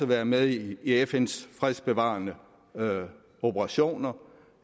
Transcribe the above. være med i fns fredsbevarende operationer